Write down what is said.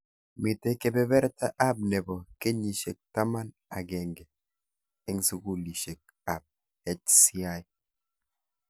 Mitei kebeberta ab nebo kenyishek taman agenge eng sukulishek ab HCI.